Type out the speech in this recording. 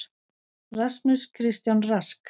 Rasmus Kristján Rask.